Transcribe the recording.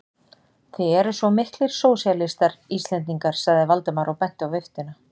Þið eruð miklir sósíalistar, Íslendingar sagði Valdimar og benti á viftuna.